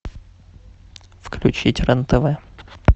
включить рен тв